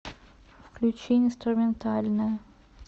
включи инструментальная